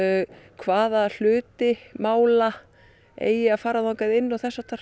hvaða hluti mála eigi að fara þangað inn og þess háttar